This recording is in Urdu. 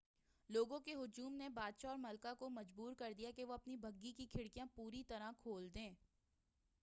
لوگوں کے ہجوم نے بادشاہ اور ملکہ کو مجبور کردیا کہ وہ اپنی بگھی کی کھڑکیاں پوری طرح کھول دیں